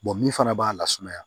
min fana b'a la sumaya